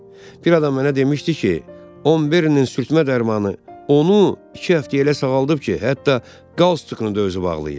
Bir adam mənə demişdi ki, 11-in sürtmə dərmanı onu iki həftəyə elə sağaldıb ki, hətta qaz çutqını da özü bağlayır.